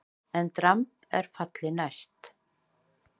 EN DRAMB ER FALLI NÆST!